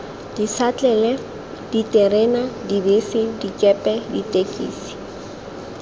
dišatlelle diterena dibese dikepe ditekisi